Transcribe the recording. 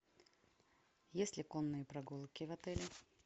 есть ли конные прогулки в отеле